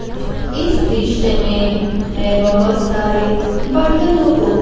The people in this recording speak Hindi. इस दृश्य में मैं बहुत सारे बर्तनों को--